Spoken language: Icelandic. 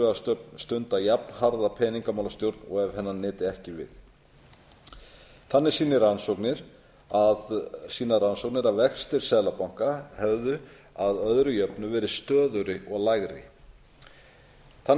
að stunda jafnharða peningamálastjórn og ef hennar nyti ekki við þannig sýna rannsóknir að vextir seðlabanka hefðu að öðru jöfnu verið stöðugri og lægri þannig